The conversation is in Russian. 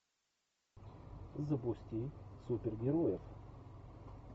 запусти супергероев